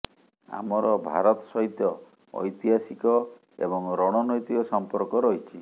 ଆମର ଭାରତ ସହିତ ଐତିହାସିକ ଏବଂ ରଣନୈତିକ ସଂପର୍କ ରହିଛି